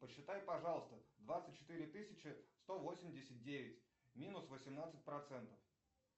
посчитай пожалуйста двадцать четыре тысячи сто восемьдесят девять минус восемнадцать процентов